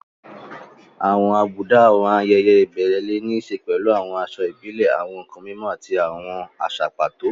Àwọn àbùdá àwọn ayẹyẹ ìbẹ̀rẹ̀ lè ní í ṣe pẹ̀lú aṣọ ìbílẹ̀, àwọn nkan mímọ́, àti àwọn àṣà pàtó.